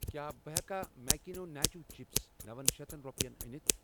کیٛاہ بہٕٕ ہٮ۪کا ماکیٖنو ناچو چِپس نوَ شیتھ رۄپٮ۪ن أنِتھ؟